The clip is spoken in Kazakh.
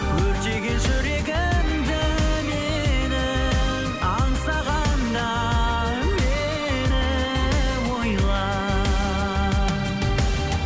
өртеген жүрегімді менің аңсағанда мені ойла